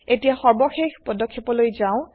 এতিয়া সর্বশেষ পদক্ষেপলৈ যাও